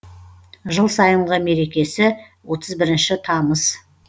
жыл сайынғы мерекесі отыз бірінші тамыз